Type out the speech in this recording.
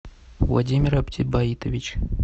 владимир оптибаитович